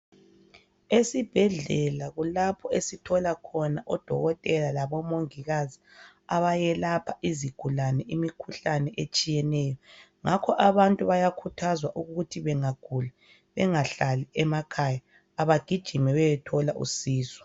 Esibhedlela kulapho esithola khona odokotela labomongikazi abayelapha izigulane imikhuhlane etshiyeneyo. Ngakho abantu bayakhuthazwa ukuthi bangagula bangahlali emakhaya. Abagijime beye thola usizo.